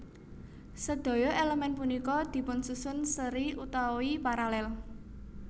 Sedaya elemen punika dipunsusun seri utawi paralel